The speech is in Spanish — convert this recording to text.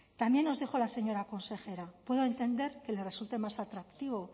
también nos dijo la señora consejera puedo entender que les resulte más atractivo